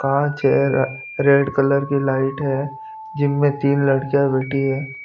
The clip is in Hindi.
कांच है रेड कलर की लाइट है जिम में तीन लड़कियां बैठी है।